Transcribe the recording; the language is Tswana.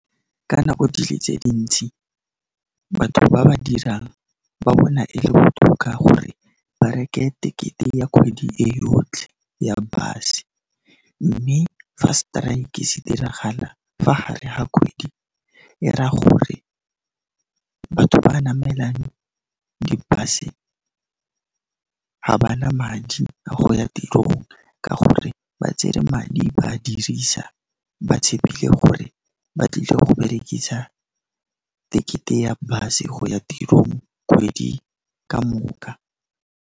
Ka nako di le tse dintsi, batho ba ba dirang ba bona e le botoka gore ba reke tekete ya kgwedi e yotlhe ya bus-e, mme fa strike se diragala fa hare ha kgwedi, er'a gore batho ba namelang di-bus-e, ga ba na madi a go ya tirong ka gore ba tsere madi ba dirisa ba tshepile gore ba tlile go berekisa tekete ya bus-e go ya tirong kgwedi ka moka.